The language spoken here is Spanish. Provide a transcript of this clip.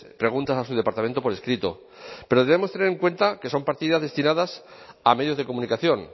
preguntas a su departamento por escrito pero debemos tener en cuenta que son partidas destinadas a medios de comunicación